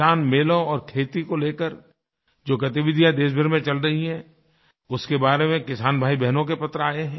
किसानमेलों और खेती को लेकर जो गतिविधियाँ देशभर में चल रही हैं उसके बारे में किसान भाईबहनों के पत्र आये हैं